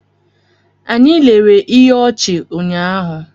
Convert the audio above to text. Anyị lere ihe ọchị ụnyahụ.